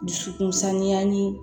Dusukun sanuya ni